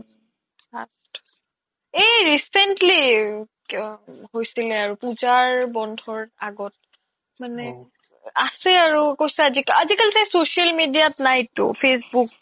এই recently হৈছিলে আৰু পুজাৰ বন্ধৰ আগত মানে আছে আৰু আজিকালি তাই social media ত নাই টো facebook